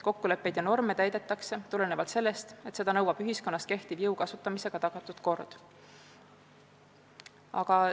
Kokkuleppeid ja norme täidetakse, sest seda nõuab ühiskonnas kehtiv jõu kasutamisega tagatud kord.